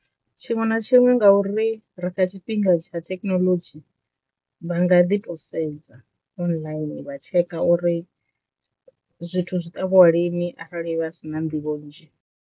Tshiṅwe na tshiṅwe nga uri ri kha tshifhinga tsha thekinoḽodzhi vha nga ḓi to sedza online vha tsheka uri zwithu zwi ṱavhwa lini arali vha si na nḓivho nzhi.